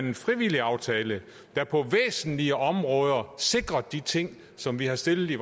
en frivillig aftale der på væsentlige områder sikrede de ting som vi har stillet